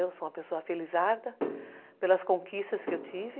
Eu sou uma pessoa felizarda pelas conquistas que eu tive.